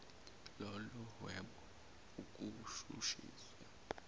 lolo hwebo ukushushisa